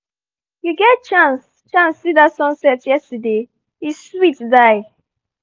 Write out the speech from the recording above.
you get chance chance see that sunset yesterday? e sweet die!